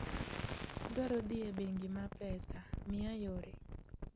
Adwaro dhi e bengi ma pesa, miya yore